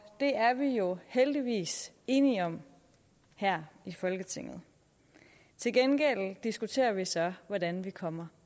det er vi jo heldigvis enige om her i folketinget til gengæld diskuterer vi så hvordan vi kommer